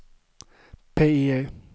PIE